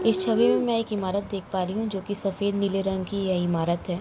इस छवि में मैं एक इमारत देख पा रही हूँ जो कि सफ़ेद नीले रंग की यह इमारत है।